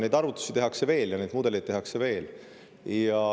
Neid arvutusi tehakse veel ja neid mudeleid tehakse veel.